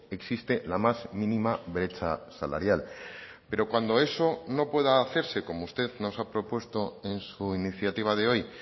existe la más mínima brecha salarial pero cuando eso no pueda hacerse como usted nos ha propuesto en su iniciativa de hoy